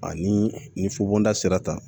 Ani ni fubonda sera